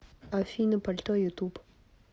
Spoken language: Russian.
афина пальто ютуб